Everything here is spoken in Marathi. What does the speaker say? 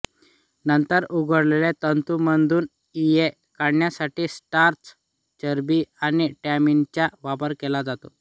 नंतर उकडलेले तंतूम्दून इये काढण्यासाठी स्टार्च चरबी आणि टॅनिनचा वापर केला जातो